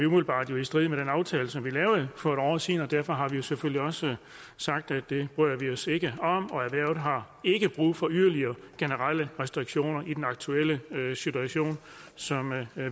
umiddelbart er i strid med den aftale som vi lavede for et år siden og derfor har vi jo selvfølgelig også sagt at det bryder vi os ikke om og erhvervet har ikke brug for yderligere generelle restriktioner i den aktuelle situation som